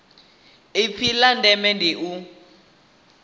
ipfi la ndeme ndi u